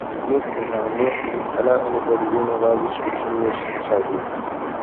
make una no um allow anybodi wey neva reach eighteen years inside o